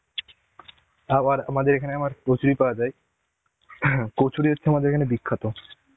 আবার আমাদের এখানে আমার কচুরি পাওয়া যায়. কচুরি হচ্ছে আমাদের এখানে বিখ্যাত